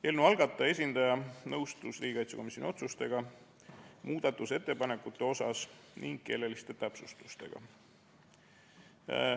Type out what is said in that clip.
Eelnõu algataja esindaja nõustus riigikaitsekomisjoni otsustega muudatusettepanekute kohta ning keeleliste täpsustustega.